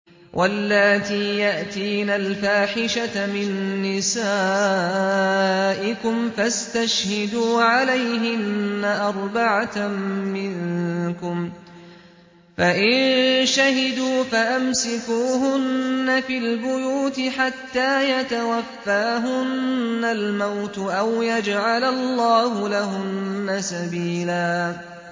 وَاللَّاتِي يَأْتِينَ الْفَاحِشَةَ مِن نِّسَائِكُمْ فَاسْتَشْهِدُوا عَلَيْهِنَّ أَرْبَعَةً مِّنكُمْ ۖ فَإِن شَهِدُوا فَأَمْسِكُوهُنَّ فِي الْبُيُوتِ حَتَّىٰ يَتَوَفَّاهُنَّ الْمَوْتُ أَوْ يَجْعَلَ اللَّهُ لَهُنَّ سَبِيلًا